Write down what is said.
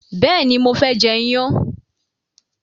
béèni mo fé jê iyán.